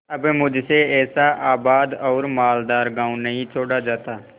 अब मुझसे ऐसा आबाद और मालदार गॉँव नहीं छोड़ा जाता